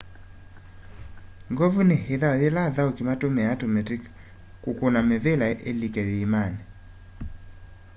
ngovu ni ithau yila athauki matumiaa tumiti ukuna mivila ilike maimani